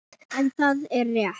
En það er rétt.